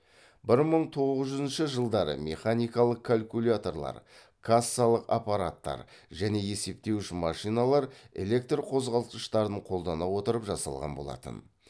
бір мың тоғыз жүзінші жылдары механикалық калькуляторлар кассалық аппараттар және есептеуіш машиналар электр қозғалтқыштарын қолдана отырып жасалған болатын